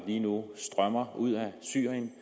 lige nu strømmer ud af syrien